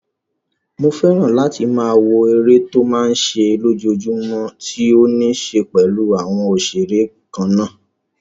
Mo fẹ́ràn láti máa wo eré tó máa n ṣe lójojúmọ́ tó ní ṣe pẹ̀lú àwọn òṣeré kannáà